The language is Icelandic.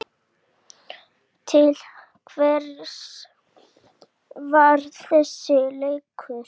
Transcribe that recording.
Til hvers var þessi leikur?